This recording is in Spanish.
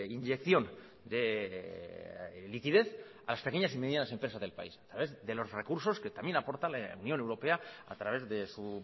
inyección de liquidez a las pequeñas y medianas empresas del país a través de los recursos que también aporta la unión europea a través de su